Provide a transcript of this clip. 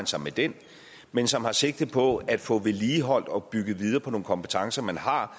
sig med den men som har sigte på at få vedligeholdt og bygget videre på nogle kompetencer man har